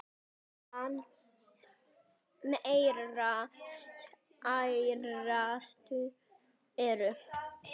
Meðal þeirra stærstu eru